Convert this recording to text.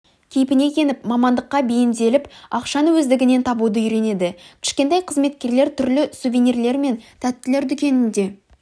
кейпіне еніп мамандыққа бейімделіп ақшаны өздігінен табуды үйренеді кішкентай қызметкерлер түрлі сувенирлер мен тәттілер дүкенінде